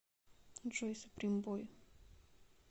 джой суприм бой